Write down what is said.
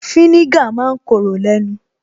Fínígà ma ń korò lẹ́nu